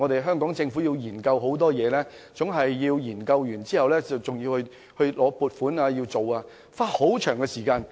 因為政府要進行多重研究，還要經過立法會撥款，需要花很長時間。